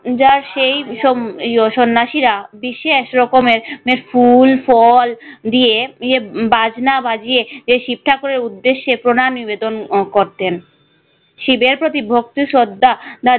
যা সেই সব সন্ন্যাসীরা এক রকমের ফুল ফল দিয়ে বিয়ে বাজনা বাজিয়ে যে শিব ঠাকুরের উদ্দেশ্যে প্রণাম নিবেদন করতেন। শিবের প্রতি ভক্তি শ্রদ্ধা।